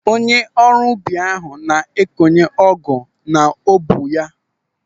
Onye ọrụ ubi ahụ na-ekọnye ọgụ n'ubu ya.